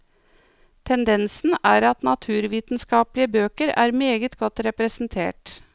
Tendensen er at naturvitenskapelige bøker er meget godt representert.